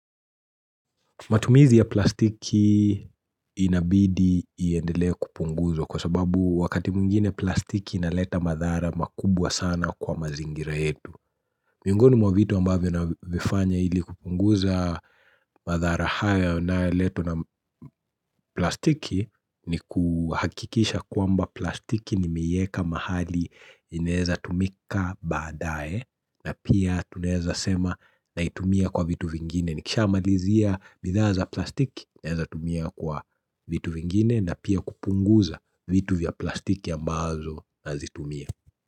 Matumizi ya plastiki inabidi iendelea kupunguzwa kwa sababu wakati mwingine plastiki inaleta madhara makubwa sana kwa mazingira yetu. Miongoni mwa vitu ambavyo na vifanya ili kupunguza madhara haya na leto na plastiki ni kuhakikisha kuamba plastiki nimieka mahali inaweza tumika baadae na pia tuneza sema na itumia kwa vitu vingine. Nikisha amalizia bidhaa za plastiki ya nawezatumia kwa vitu vingine na pia kupunguza vitu vya plastiki ambazo na zitumia.